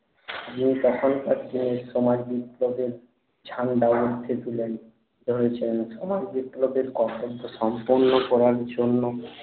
যে তখনকার যে সমাজ বিপ্লবের ঝান্ডা উর্ধে তুলে ধরেছেন সমাজ বিপ্লবের কর্তব সম্পন্ন করার জন্য